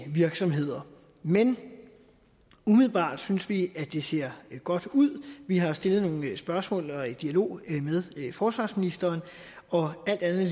virksomheder men umiddelbart synes vi at det ser godt ud vi har stillet nogle spørgsmål og er i dialog med forsvarsministeren og alt andet